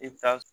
I bɛ taa